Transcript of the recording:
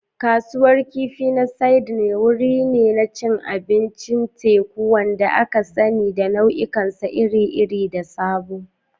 Kasuwar Kifi na Sydney wuri ne na cin abincin teku, wanda aka sani da nau'ikansa iri-iri da sabo.